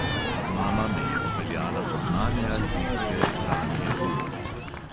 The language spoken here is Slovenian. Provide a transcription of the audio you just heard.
Mama me je popeljala do znane altistke franje golob.